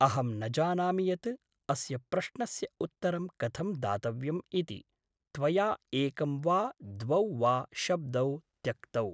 अहं न जानामि यत् अस्य प्रश्नस्य उत्तरं कथं दातव्यम् इति, त्वया एकं वा द्वौ वा शब्दौ त्यक्तौ।